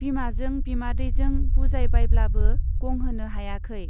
बिमाजों बिमादैजों बुजायबायब्लाबो गंहोनो हायाखै।